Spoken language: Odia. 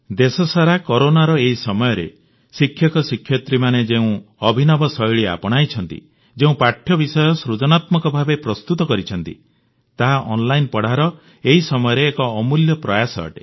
ଦେଶସାରା କରୋନାର ଏହି ସମୟରେ ଶିକ୍ଷକ ଶିକ୍ଷୟିତ୍ରୀମାନେ ଯେଉଁ ଅଭିନବ ଶୈଳୀ ଆପଣାଇଛନ୍ତି ଯେଉଁ ପାଠ୍ୟ ବିଷୟ ସୃଜନାତ୍ମକ ଭାବେ ପ୍ରସ୍ତୁତ କରିଛନ୍ତି ତାହା ଅନଲାଇନ ପଢ଼ାର ଏହି ସମୟରେ ଅମୂଲ୍ୟ ଅଟେ